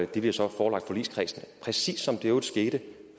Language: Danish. de bliver så forelagt forligskredsen præcis som i øvrigt skete